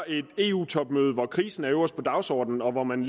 et eu topmøde hvor krisen står øverst på dagsordenen og hvor man